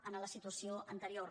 en la situació anterior